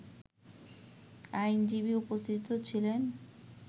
আইনজীবী উপস্থিত ছিলেন